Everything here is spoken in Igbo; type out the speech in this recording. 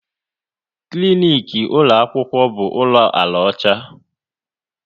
Klinik ụlọ akwụkwọ bụ ụlọ ala ọcha